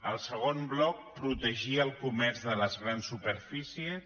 el segon bloc protegir el comerç de les grans superfícies